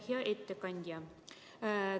Hea ettekandja!